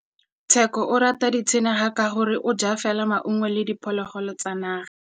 Tshekô o rata ditsanaga ka gore o ja fela maungo le diphologolo tsa naga.